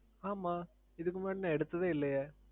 ஆமாம் இதுக்கு முன்னாடி நான் எடுத்ததே இல்லையே.